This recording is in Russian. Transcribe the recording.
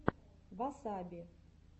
васаби